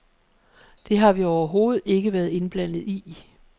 Det har vi overhovedet ikke været indblandet i.